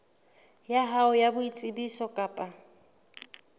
ya hao ya boitsebiso kapa